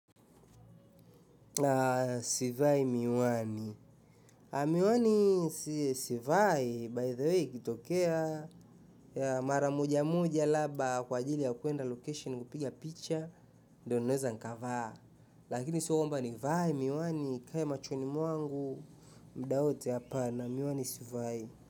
Sivai miwani, miwani sivai, by the way ikitokea mara moja moja laba kwa ajili ya kuenda location kupiga picha, ndo naeza nikavaa, lakini sio kwamba nivae miwani, ikae machoni mwangu, muda wote hapana miwani sivai.